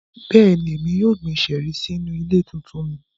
Bẹ́ẹ̀ni, Emi yóò gbin ṣẹẹri sinu ile tuntun mi.